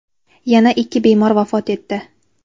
yana ikki bemor vafot etdi.